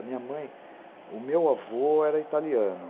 A minha mãe... O meu avô era italiano.